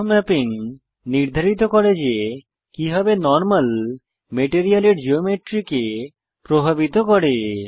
bump mapping নির্ধারিত করে যে কিভাবে নরমাল মেটেরিয়ালের জিওমেট্রি কে প্রভাবিত করে